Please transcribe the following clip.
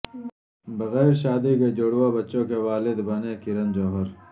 بغیر شادی کئے جڑواں بچوں کے والد بنے کرن جوہر